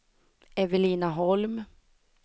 Evelina Holm